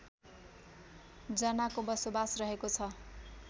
जनाको बसोबास रहेको छ